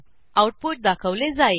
output दाखवले जाईल